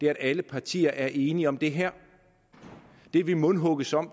at alle partier er enige om det her det vi mundhugges om